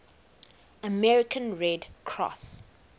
american red cross